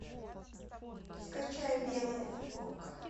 скачай белая футболка